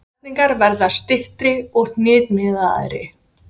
Setningarnar verða styttri og hnitmiðaðri.